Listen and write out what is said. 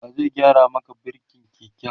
wa zai gyara Maka birkin keken?